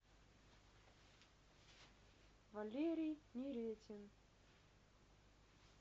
валерий неретин